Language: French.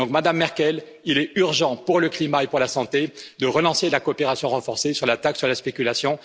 Madame Merkel, il est urgent pour le climat et pour la santé de relancer la coopération renforcée sur la taxe sur la spéculation.